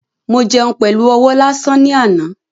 Mo jẹun pẹlu ọwọ́ lásán ni àná